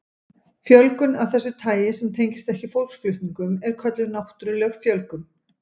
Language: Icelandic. Fjölgun af þessu tagi sem tengist ekki fólksflutningum er kölluð náttúruleg fjölgun.